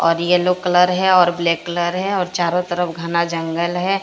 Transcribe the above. और yellow colour है और ब्लैक कलर है और चारों तरफ घना जंगल है।